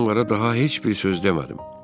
Mən onlara daha heç bir söz demədim.